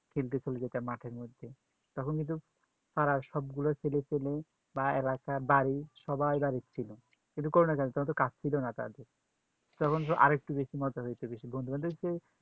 খেলতে চলে যেতাম মাঠের মধ্যে তখন কিন্তু পাড়ার সব গুলো ছেলে পেলে ভাইরা বাড়ির সবাই বাড়ি ছিল কিন্তু করুণা কালে তখন তো কাজ ছিল না তার জন্য তখন আর একটু বেশি মজা পাইছে বেশি বন্ধু বান্ধব এসেছে